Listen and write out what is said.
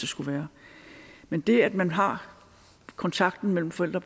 skulle være men det at man har kontakten mellem forældre